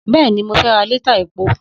Bẹ́ẹ̀ni, mo fẹ́ ra lítà epo